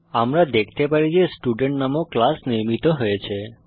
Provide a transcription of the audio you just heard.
আমরা দেখতে পারি যে স্টুডেন্ট নামক ক্লাস নির্মিত হয়েছে